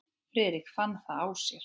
Friðrik fann það á sér.